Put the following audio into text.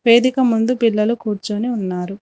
వేదిక మందు పిల్లలు కూర్చొని ఉన్నారు.